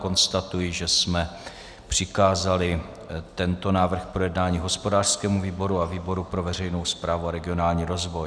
Konstatuji, že jsme přikázali tento návrh k projednání hospodářskému výboru a výboru pro veřejnou správu a regionální rozvoj.